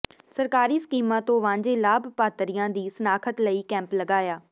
ਸਰਕਾਰੀ ਸਕੀਮਾਂ ਤੋਂ ਵਾਂਝੇ ਲਾਭਪਾਤਰੀਆਂ ਦੀ ਸ਼ਨਾਖ਼ਤ ਲਈ ਕੈਂਪ ਲਗਾਇਆ